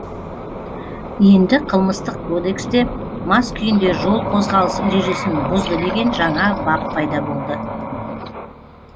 енді қылмыстық кодексте мас күйінде жол қозғалыс ережесін бұзды деген жаңа бап пайда болды